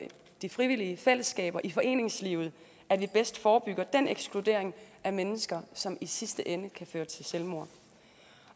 de frivillige fællesskaber i foreningslivet at vi bedst forebygger den ekskludering af mennesker som i sidste ende kan føre til selvmord